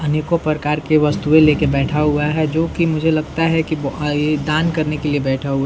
अनेकों प्रकार के वस्तुए लेकर बैठा हुआ है जो कि मुझे लगता है कि ब ये दान करने के लिए बैठा हुआ है।